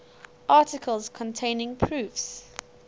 articles containing proofs